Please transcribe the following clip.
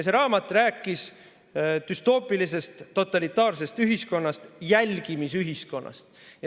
See raamat rääkis düstoopilisest totalitaarsest ühiskonnast, jälgimisühiskonnast.